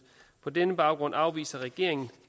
på denne baggrund afviser regeringen